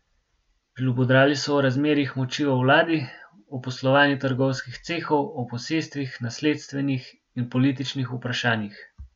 Žlobudrali so o razmerjih moči v vladi, o poslovanju trgovskih cehov, o posestvenih, nasledstvenih in političnih vprašanjih.